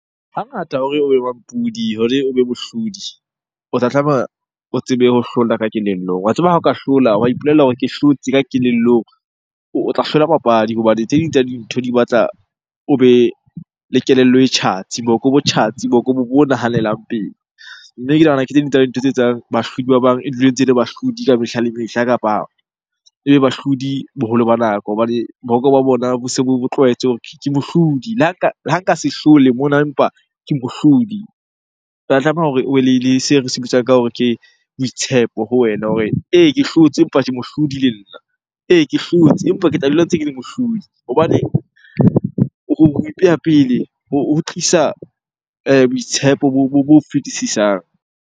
Hangata hore mampodi hore o be mohlodi o tla tlameha o tsebe ho hlola ka kelellong. Wa tseba ha o ka hlola, wa ipolella hore ke hlotse ka kelellong. O tla hlola papadi hobane tse ding tsa dintho di batla o be le kelello e tjhatsi, boko bo tjhatsi, boko bo nahanelang pele. Mme ke nahana ke tse ding tsa dintho tse etsang bahlodi ba bang e dule e ntse ele bahlodi ka mehla le mehla. Kapa ebe bahlodi boholo ba nako hobane boko ba bona bo se bo tlwaetse hore ke mohlodi. Le ha ka se hlole mona, empa ke mohlodi. Tlameha hore o be le seo re se bitsang ka hore ke boitshepo ho wena hore ee, ke hlotse empa ke mohlodi le nna. Ee, ke hlotse empa ke tla dula ntse ke le mohlodi hobaneng ho ipeha pele ho tlisa boitshepo bo fetisisang.